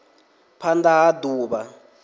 phand a ha d uvha